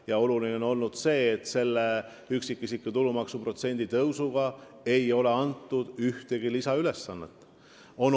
Ja oluline on see, et selle üksikisiku tulumaksu protsendi tõusuga ei ole neile ühtegi lisaülesannet antud.